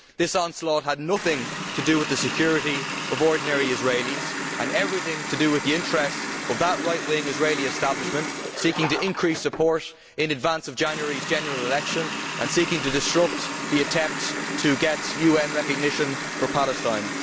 This onslaught had nothing to do with the security of ordinary Israelis and everything to do with the interests of that right wing Israeli establishment seeking to increase support in advance of January's general election and seeking to disrupt the attempt to get UN recognition for Palestine.